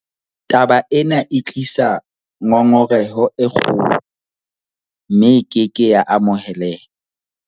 Taba ena e tlisa ngongoreho e kgolo, mme e ke ke ya amoheleha.